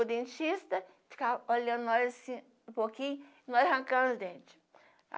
O dentista ficava olhando nós assim um pouquinho, e nós arrancando os dentes.